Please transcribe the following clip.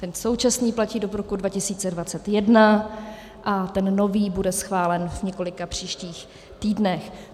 Ten současný platí do roku 2021 a ten nový bude schválen v několika příštích týdnech.